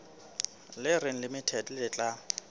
le reng limited le tla